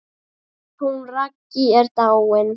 Hún Raggý er dáin.